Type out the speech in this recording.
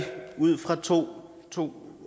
to to